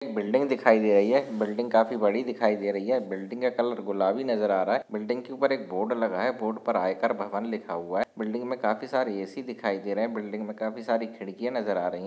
building दिखाई दे रही है बिल्डिंग काफी बड़ी दिखाई दे रही है बिल्डिंग का कलर गुलाबी नजर आ रहा है बिल्डिंग के उपर एक बोर्ड लगा है बोर्ड पर आयकर भवन लिखा हुआ है बिल्डिंग मे काफी सारे ए_सी दिखाई दे रहे है बिल्डिंग मे काफी सारी खिडकीया नजर आ रही--